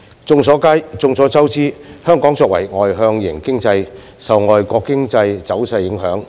眾所周知，香港作為外向型經濟，受外國經濟走勢影響。